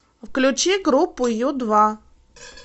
включи группу ю два